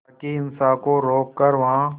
ताकि हिंसा को रोक कर वहां